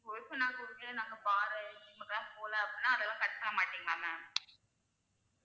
ஓ இப்ப நாங்க வந்து bar, gym க்குலாம் போல அப்படினா அதெல்லாம் cut பண்ண மாட்டிங்களா ma'am